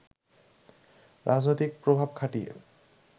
রাজনৈতিক প্রভাব খাটিয়ে